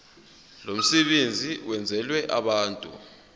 lomsebenzi wenzelwe abantu